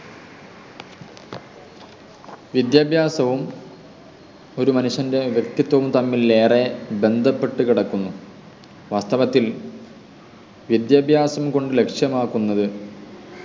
വിദ്യാഭ്യാസവും ഒരു മനുഷ്യൻ്റെ വ്യക്തിത്വവും തമ്മിൽ ഏറെ ബന്ധപ്പെട്ടുകിടക്കുന്നു വാസ്തവത്തിൽ വിദ്യാഭ്യാസം കൊണ്ട് ലക്ഷ്യമാക്കുന്നത്